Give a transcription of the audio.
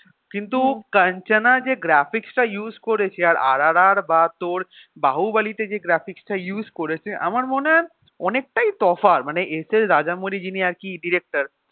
কিন্তু কাঞ্চনা যে graphics টা use করেছে আর আরআরআর বা তোর বাহুবলি তে যে graphics টা use করেছে আমার মনে হয় অনেকটাই তফাৎ মানে এস এস রাজামনি যিনি আরকি director